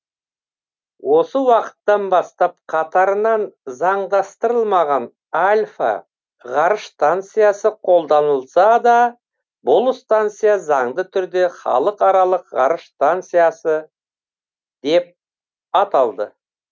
осы уақыттан бастап қатарынан заңдастырылмаған альфа ғарыш станциясы қолданылса да бұл станция заңды түрде халықаралық ғарыш станциясы деп аталды